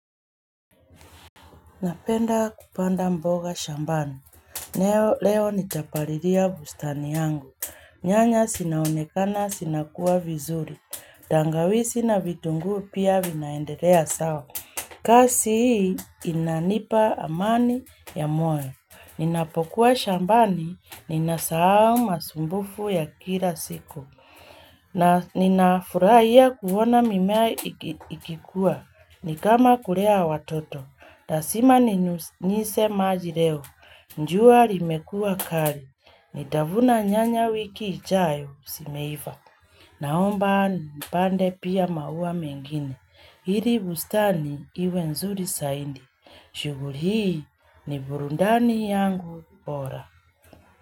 Napenda kupanda mboga shambani. Leo nitapalilia bustani yangu. Nyanya zinaonekana zinakua vizuri. Tangaizi na vitungu pia vinaendelea sawa. Kazi hii inanipa amani ya moyo. Ninapokuwa shambani ninasahau masumbuko ya kila siku. Na ninafurahia kuona mimea ikikua. Ni kama kulea watoto. Lasima ni nyunyise maji leo. Jua limekua kali. Nitavuna nyanya wiki ijayo simeiva. Naomba nipande pia maua mengine. Ili bustani iwe nzuri saidi. Shuguli hii ni burudani yangu bora.